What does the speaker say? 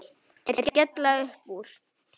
Þeir skella upp úr.